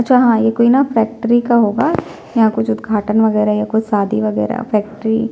जहाँ ये कोई ना फ़ैक्टरी का होगा यहाँ कुछ उदघाटन वैगेरा या कुछ शादी वैगेरा फ़ैक्टरी --